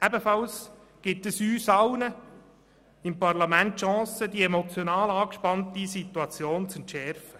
Ebenfalls erhalten wir alle seitens des Parlaments die Chance, die emotional angespannte Situation zu entschärfen.